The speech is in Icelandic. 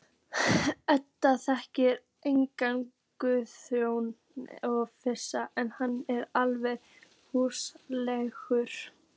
Edda þekkir þennan Guðjón og finnst hann alveg hrútleiðinlegur.